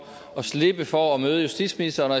at slippe for at møde justitsministeren og